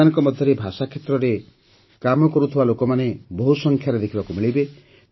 ଏମାନଙ୍କ ମଧ୍ୟରେ ଭାଷା କ୍ଷେତ୍ରରେ କାମ କରୁଥିବା ଲୋକମାନେ ବହୁସଂଖ୍ୟାରେ ଦେଖିବାକୁ ମିଳିବେ